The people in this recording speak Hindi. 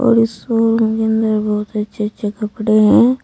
इस शोरूम में बहुत अच्छे अच्छे कपड़े हैं।